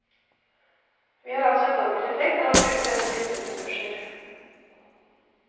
Vi har altså en dobbelt effekt av å bruke denne type ressurser.